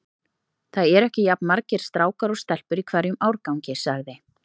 Það eru ekki jafn margir strákar og stelpur í hverjum árgangi sagði